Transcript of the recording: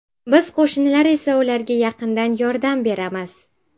Biz qo‘shnilar esa ularga yaqindan yordam beramiz.